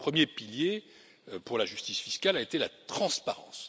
Le premier pilier pour la justice fiscale a été la transparence.